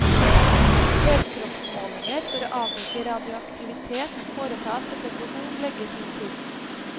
Helkroppsmålinger for å avdekke radioaktivitet foretas etter behov, legger hun til.